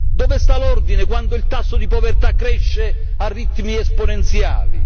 Dove sta l'ordine quando il tasso di povertà cresce a ritmi esponenziali?